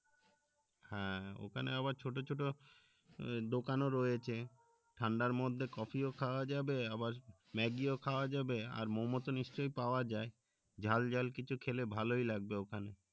হ্যাঁ ওখানে আবার ছোট ছোট দোকানও রয়েছে ঠাডার মধ্যে কফি ও খাওয়া যাবে আবার ম্যাগি ও খাওয়া যাবে আর মোম তো নিশ্চই পাওয়া যায় ঝাল ঝাল কিছু খেলে ভালোই লাগবে ওখানে